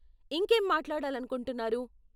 ఇంకేం మాట్లాడాలనుకుంటున్నారు?